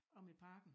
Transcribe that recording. Omme i parken